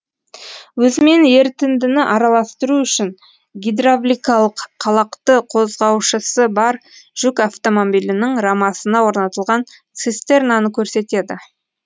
өзімен ерітіндіні араластыру үшін гидравликалық қалақты қозғаушысы бар жүк автомобилінің рамасына орнатылған цистернаны көрсетеді